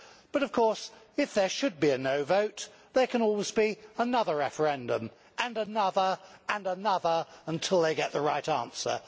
But of course, if there should be a no' vote, there can always be another referendum, and another, and another, until they get the right answer.